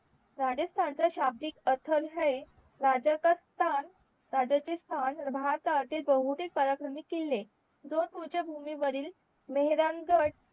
राजस्थान च्या शाब्दिक अथर हय राजसख्थान राजाचे स्थान भारतातील बहुदि पराक्रमी किल्ले भूमी वरील मेहरामगड